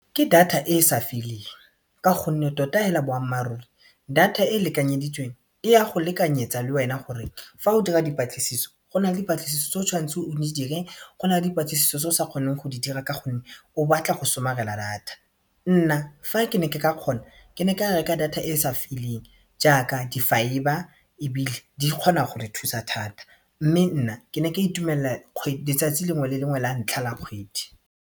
Ke data e e sa feleng ka gonne tota hela boammaaruri data e e lekanyeditsweng e ya go lekanyetsa le wena gore fa o dira dipatlisiso go na le dipatlisiso tse o tshwanetseng o di dire go na le dipatlisiso tse o sa kgoneng go di dira ka gonne o batla go somarela data, nna fa ke ne ke ka kgona ke ne ka reka data e e sa feleng jaaka di-fibre ebile di kgona go re thusa thata mme nna ke ne ke itumelela letsatsi lengwe le lengwe la ntlha la kgwedi.